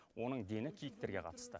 оның дені киіктерге қатысты